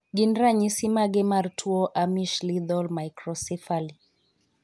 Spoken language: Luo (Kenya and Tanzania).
Gin ranyisi mage mar tuo Amish lethal microcephaly?